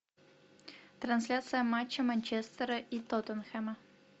трансляция матча манчестера и тоттенхэма